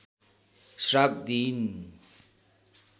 श्राप दिइन्